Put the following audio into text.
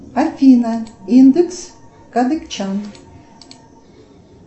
афина индекс кадыкчан